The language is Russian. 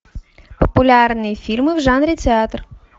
популярные фильмы в жанре театр